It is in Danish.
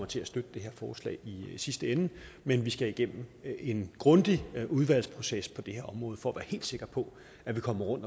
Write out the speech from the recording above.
til at støtte det her forslag i sidste ende men vi skal igennem en grundig udvalgsproces på det her område for at være helt sikre på at vi kommer ud